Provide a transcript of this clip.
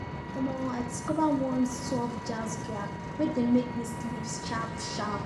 omo i discover one soft jazz track wey dey make me sleep sharp sharp